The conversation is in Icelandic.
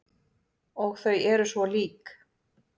Og þau eru svo lík.